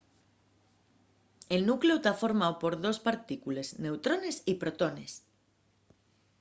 el nucleu ta formáu por dos partícules – neutrones y protones